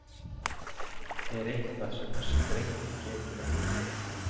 Er eitthvað sem þessi drengur getur ekki?!